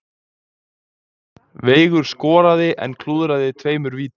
Veigar skoraði en klúðraði tveimur vítum